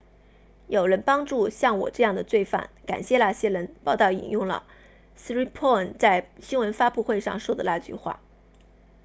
有人帮助像我这样的罪犯感谢那些人报道引用了 siriporn 在新闻发布会上说的那句话